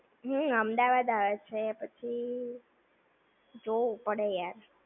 હમ્મ અમદાવાદ આવે છે પછી, જોવું પડે યાર!